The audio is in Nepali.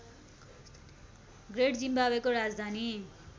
ग्रेट जिम्बाब्वेको राजधानी